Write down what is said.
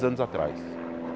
Anos atrás.